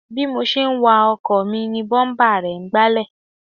Bí mo ṣe ń wa ọkọ̀ mi ni búḿpà rẹ̀ ń gbálẹ̀